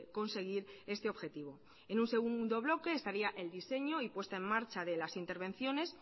conseguir este objetivo en un segundo bloque estaría el diseño y puesta en marcha de las intervenciones